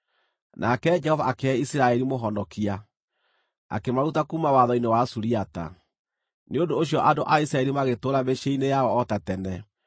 Nake Jehova akĩhe Isiraeli mũhonokia, akĩmaruta kuuma watho-inĩ wa Suriata. Nĩ ũndũ ũcio andũ a Isiraeli magĩtũũra mĩciĩ-inĩ yao o ta tene.